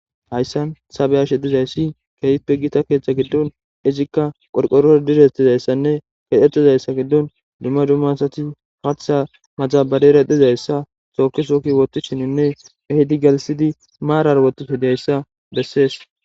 Hayssan sabeashe dhizayssi kehippe gita keethcha giddon izikka qorqoror direttizayssanne kedetizayssa giddon dumma dummasati paththa maxabarera dizayssa sookisokki woti shininne ehidi galisidi maarar wotiso dihayssa bessees